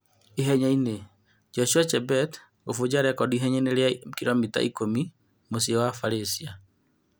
Ihenyainĩ: Joshua Chebet gũbunja rekondi ihenyainĩ rĩa kiromita ikũmi mũciĩ wa Barĩcia